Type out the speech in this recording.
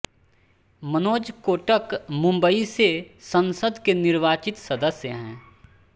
मनोज कोटक मुम्बई से संसद के निर्वाचित सदस्य हैं